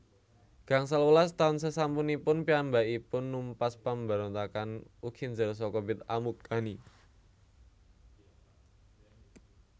Gangsal welas taun sesampunipun piyambakipun numpas pambarontakan Ukinzer saka Bit Amukkani